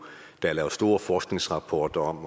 er lavet store forskningsrapporter om og